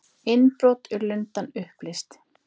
Innbrot í Lundann upplýst